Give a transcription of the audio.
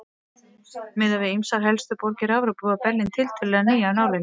Miðað við ýmsar helstu borgir Evrópu var Berlín tiltölulega ný af nálinni.